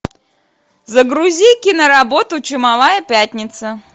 загрузи киноработу чумовая пятница